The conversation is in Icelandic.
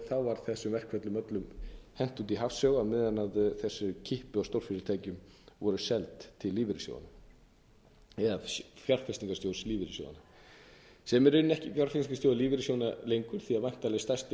var þessum verkferlum öllum hent út í hafsauga á meðan þessi kippa af stórfyrirtækjum var seld til lífeyrissjóðanna eða fjárfestignarsjóðs lífeyrissjóðanna sem er í rauninni ekki fjárfestingarsjóður lífeyrissjóðanna lengur því að væntanlega stærsti